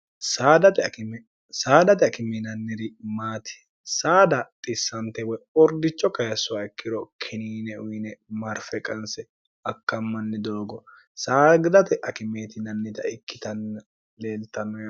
saadate akiminanniri maati saada xissante woy ordicho kayissowa ikkiro kiniine uyine marfe qanse akkammanni doogo saagidate akimeetinannita ikkitanni leeltanno